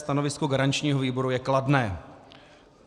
Stanovisko garančního výboru je kladné.